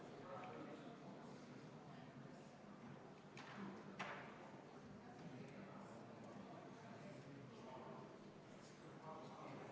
Erandite pikendamata jätmine võib tuua ettevõtjatele kaasa kulutusi, mida nad ei ole ette näinud, või nad on planeerinud arendustöid pikema aja peale arvestusega, et nad suudaksid määruse kõiki nõudeid täita peale 3. detsembrit 2024.